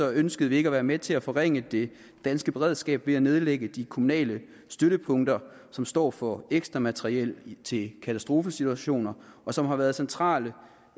ønskede vi ikke at være med til at forringe det danske beredskab ved at nedlægge de kommunale støttepunkter som står for ekstra materiel til katastrofesituationer og som har været centrale